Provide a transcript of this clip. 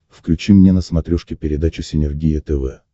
включи мне на смотрешке передачу синергия тв